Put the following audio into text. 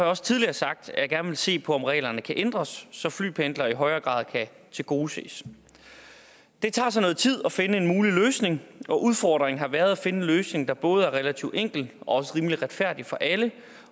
også tidligere sagt at jeg gerne vil se på om reglerne kan ændres så flypendlere i højere grad kan tilgodeses det tager så noget tid at finde en mulig løsning og udfordringen har været at finde en løsning der både er relativt enkel og også rimelig retfærdig for alle